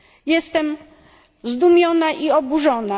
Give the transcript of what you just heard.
jestem zdumiona i oburzona.